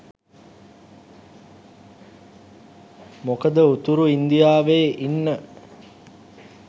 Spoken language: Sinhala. මොකද උතුරු ඉන්දියාවේ ඉන්න